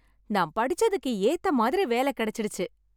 நான் படிச்சதுக்கு ஏத்த மாதிரி வேலை கிடைச்சிடுச்சு.